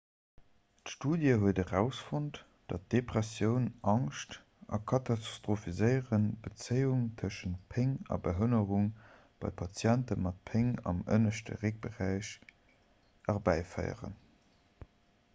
d'studie huet erausfonnt datt depressioun angscht a katastrophiséieren d'bezéiung tëschent péng a behënnerung bei patienten mat péng am ënneschte réckberäich erbäiféieren